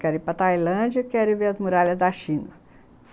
Quero ir para Tailândia e quero ver as muralhas da China.